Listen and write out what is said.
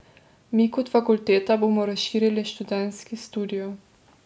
Mi kot fakulteta bomo razširili študentski studio.